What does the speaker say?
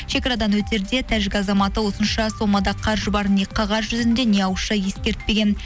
шекарадан өтерде тәжік азаматы осынша сомада қаржы барын не қағаз жүзінде не ауызша ескертпеген